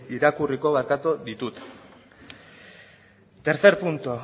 irakurriko ditut tercer punto